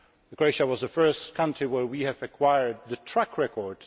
Croatia was the first country where we have acquired the track record.